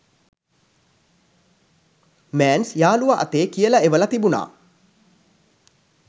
මෑන්ස් යාළුවා අතේ කියල එවල තිබුනා